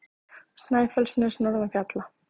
Snæfellsnes norðan fjalla.